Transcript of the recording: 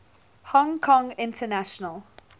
hong kong international